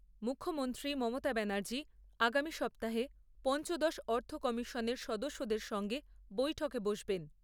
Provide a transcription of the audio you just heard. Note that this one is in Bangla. মুখ্যমন্ত্রী মমতা ব্যানার্জি আগামী সপ্তাহে পঞ্চদশ অর্থ কমিশনের সদস্যদের সঙ্গে বৈঠকে বসবেন ।